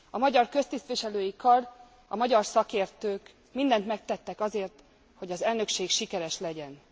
A magyar köztisztviselői kar, a magyar szakértők mindent megtettek azért, hogy az elnökség sikeres legyen.